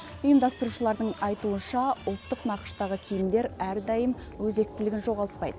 ұйымдастырушылардың айтуынша ұлттық нақыштағы киімдер әрдайым өзектілігін жоғалтпайды